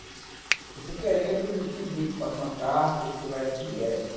Porque você querendo, eu te indico, passo uma carta e você vai direto.